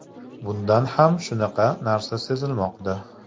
Bunda ham shunaqa narsa sezilmoqda.